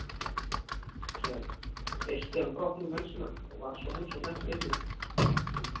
Síðan þeysti hann brott með menn sína og varð sú heimsókn ekki lengri.